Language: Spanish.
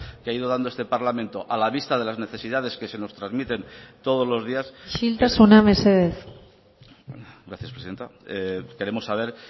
que ha ido dando este parlamento a la vista de las necesidades que se nos transmiten todos los días isiltasuna mesedez gracias presidenta queremos saber